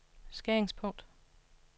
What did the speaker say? skæringspunkt